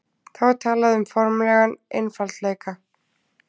þá er talað um formlegan einfaldleika